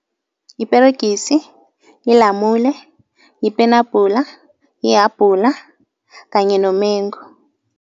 Yiperegisi, yilamule, yipenabhula, yihabhula kanye nomengu.